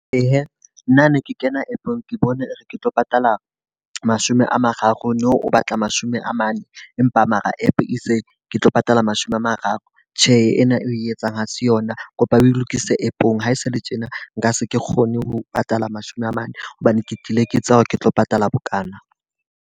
Ee, nna ne ke kena app-ong ke bone re ke tlo patala mashome a mararo, nou o batla mashome a mane. Empa mara app e itse ke tlo patala mashome a mararo. Tjhe ena e etsang ha se yona, kopa o lokise app-ong. Ha e se le tjena nka se kgone ho patala mashome a mane hobane ke tlile ke tseba hore ke tlo patala bokana.